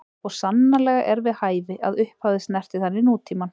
Og sannarlega er við hæfi, að upphafið snerti þannig nútímann.